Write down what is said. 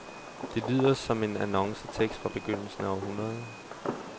Det lyder som en annoncetekst fra begyndelsen af århundredet.